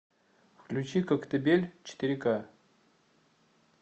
включи коктебель четыре ка